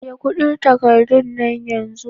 Ajiye kudin takardan yan zu.